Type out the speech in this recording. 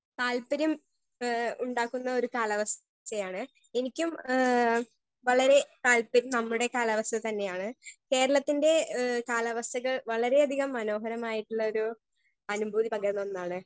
Speaker 1 താൽപ്പര്യം ഏ ഉണ്ടാക്കുന്നൊരു കാലാവസ്ഥയാണ് എനിക്കും ഏ വളരെ താൽപ്പര്യം നമ്മടെ കാലാവസ്ഥ തന്നെയാണ് കേരളത്തിന്റെ ഏ കാലാവസ്ഥകൾ വളരേ അധികം മനോഹരമായിട്ടുള്ളൊരു അനുഭൂതി പകരുന്ന ഒന്നാണ്.